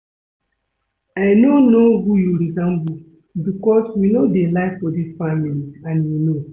I no know who you resemble because we no dey lie for dis family and you know